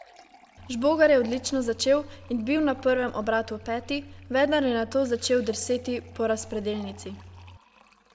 Žbogar je odlično začel in bil na prvem obratu peti, vendar je nato začel drseti po razpredelnici.